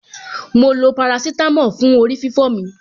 Mo lo parasítámọ̀ fún orí-fífọ́ mi.